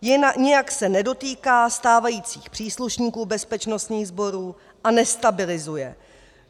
Nijak se nedotýká stávajících příslušníků bezpečnostních sborů a nestabilizuje.